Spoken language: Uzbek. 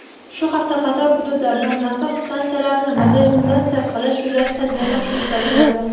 Shu hafta qator hududlarda nasos stansiyalarini modernizatsiya qilish yuzasidan yig‘ilish o‘tkaziladi.